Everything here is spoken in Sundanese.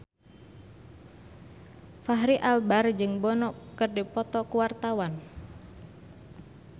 Fachri Albar jeung Bono keur dipoto ku wartawan